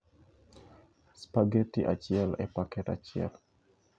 spaghetti achiel e paket achiel